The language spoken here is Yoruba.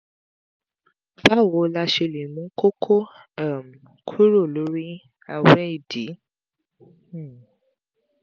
báwo la ṣe lè mú koko um kúrò lórí awe idì? um